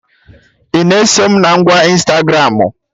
Ị na-eso mụ na ngwa Ịnstagramụ?